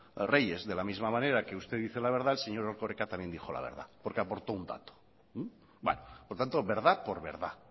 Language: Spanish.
reyes de la misma manera que usted dice la verdad el señor erkoreka también dijo la verdad porque aportó un dato por tanto verdad por verdad